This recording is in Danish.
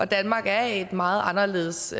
danmark er et meget anderledes